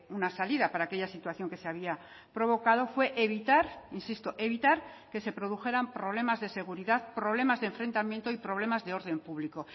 una salida para aquella situación que se había provocado fue evitar insisto evitar que se produjeran problemas de seguridad problemas de enfrentamiento y problemas de orden público